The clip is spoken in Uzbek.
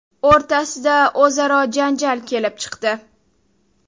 o‘rtasida o‘zaro janjal kelib chiqdi.